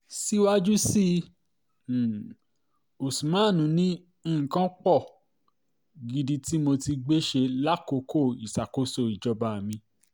síwájú sí i um usman ni nǹkan pọ̀ um gidi tí mo ti gbé ṣe lákòókò ìṣàkòóso ìjọba mi